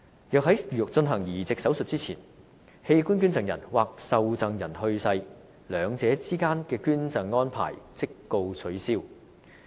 若在進行移植手術前，器官捐贈人或受贈人去世，兩者之間的捐贈安排即告取消。